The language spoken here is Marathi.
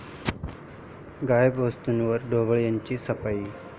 गायब वस्तूंवर ढोबळेंची 'सफाई'